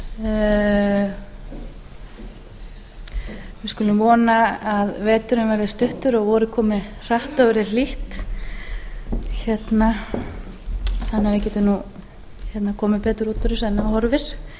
við skulum vona að veturinn verði stuttur og vorið komi hratt og verði hlýtt þannig að við getum nú komið betur út úr þessu en